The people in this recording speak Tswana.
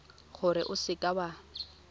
gore o seka w a